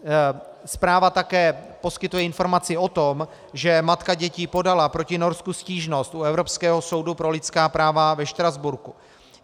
Zpráva také poskytuje informaci o tom, že matka dětí podala proti Norsku stížnost u Evropského soudu pro lidská práva ve Štrasburku.